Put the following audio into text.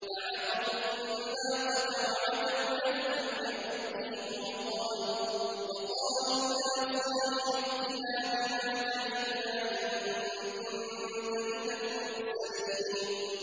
فَعَقَرُوا النَّاقَةَ وَعَتَوْا عَنْ أَمْرِ رَبِّهِمْ وَقَالُوا يَا صَالِحُ ائْتِنَا بِمَا تَعِدُنَا إِن كُنتَ مِنَ الْمُرْسَلِينَ